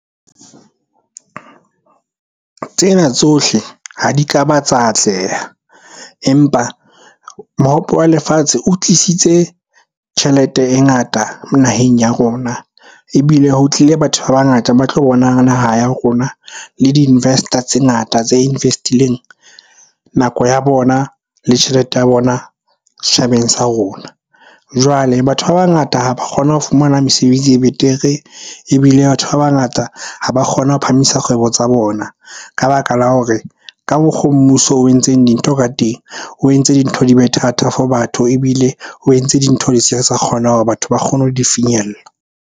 Tsena tsohle ha di ka ba tsa atleha empa mohope wa lefatshe o tlisitse tjhelete e ngata naheng ya rona. Ebile ho tlile batho ba bangata ba tlo bonang naha ya rona, le di-investor tse ngata tse invest-ileng nako ya bona le tjhelete ya bona setjhabeng sa rona. Jwale batho ba bangata ha ba kgona ho fumana mesebetsi e betere, ebile batho ba bangata ha ba kgone ho phahamisa kgwebo tsa bona ka baka la hore ka mokgo mmuso o entseng dintho ka teng. O entse dintho di be thata for batho, ebile o entse dintho hore batho ba kgone ho di finyella.